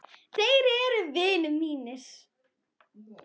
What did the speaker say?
Þeir eru vinir mínir.